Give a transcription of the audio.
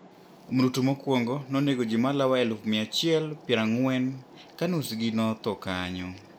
Mrutu mokwongo nonego ji malao elufu mia achiel piero ang'wen ka nus gi notho kanyo